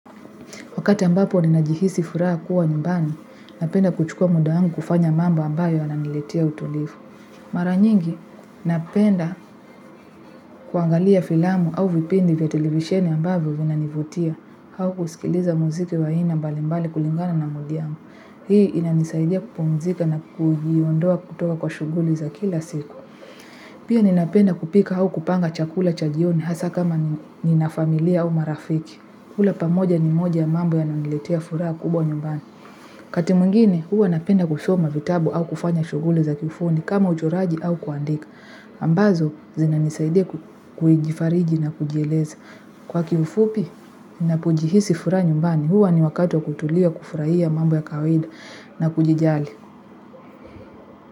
Wakati ambapo ninajihisi furaha kuwa nyumbani, napenda kuchukua muda wangu kufanya mambo ambayo yananiletea utulivu. Mara nyingi, napenda kuangalia filamu au vipindi vya televisheni ambavyo vinanivutia, au kusikiliza muziki wa aina mbalimbali kulingana na mudi yangu. Hii inanisaidia kupumzika na kujiondoa kutoka kwa shughuli za kila siku. Pia ninapenda kupika au kupanga chakula cha jioni hasa kama nina familia au marafiki kula pamoja ni moja ya mambo yananiletea furaha kubwa nyumbani. Wakati mwingine huwa napenda kusoma vitabu au kufanya shughuli za kifundi kama uchoraji au kuandika. Ambazo zinanisaidia kujifariji na kujieleza kwa kiufupi ninapojihisi furaha nyumbani huwa ni wakati wa kutulia kufurahia mambo ya kawaida na kujijali.